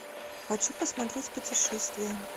хочу посмотреть путешествия